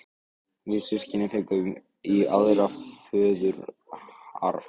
Við systkinin fengum aðra í föðurarf.